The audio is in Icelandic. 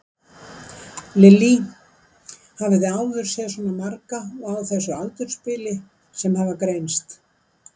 Lillý: Hafið þið áður séð svona marga og á þessu aldursbili sem hafa greinst?